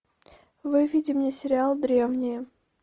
выведи мне сериал древние